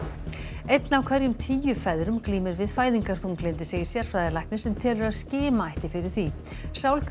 einn af hverjum tíu feðrum glímir við fæðingarþunglyndi segir sérfræðilæknir sem telur að skima ætti fyrir því